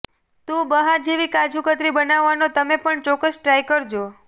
તો બહાર જેવી કાજુકતરી બનાવાનો તમે પણ ચોક્કસ ટ્રાય કરજો